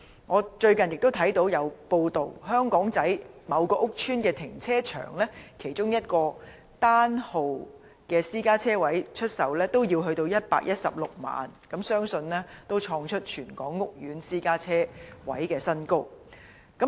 我最近亦看到報道，香港仔某屋邨停車場出售其中一個單號私家車車位也要116萬元，相信創出全港屋苑私家車車位的新高。